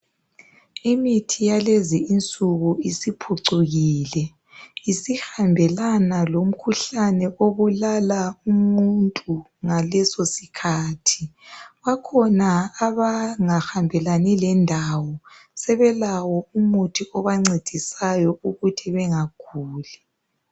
Imithi yalezi insuku isiphucukile isihambelana lomkhuhlane obulala umuntu ngaleso sikhathi bakhona abangahambelani lendawo sebelawo umuthi obancedisayo ukuthi bengaguli.